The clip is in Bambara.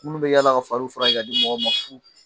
Munnu bɛ yaala ka faliw furakɛ ka di mɔgɔw fu !